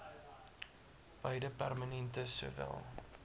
beide permanente sowel